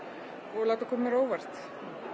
og láta koma mér á óvart